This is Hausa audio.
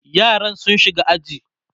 yaran sun shiga aji